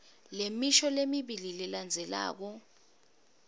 lemisho lemibili lelandzelako